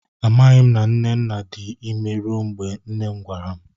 A maghi m na nnenna dị imé rue mgbe nne m gwara m